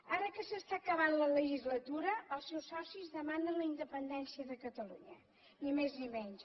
ara que s’està acabant la legislatura els seus socis demanen la independència de catalunya ni més ni menys